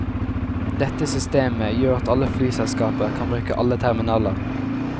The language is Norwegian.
Dette systemet gjør at alle flyselskaper kan bruke alle terminaler.